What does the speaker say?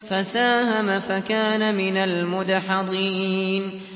فَسَاهَمَ فَكَانَ مِنَ الْمُدْحَضِينَ